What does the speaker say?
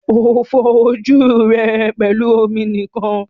O fọ ojú rẹ pẹlú omi nìkan.